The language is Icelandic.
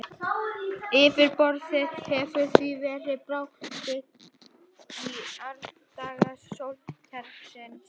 Yfirborðið hefur því verið bráðið í árdaga sólkerfisins.